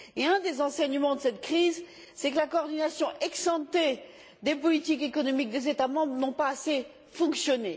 Un des enseignements de cette crise, c'est que la coordination ex ante des politiques économiques des États membres n'a pas assez fonctionné.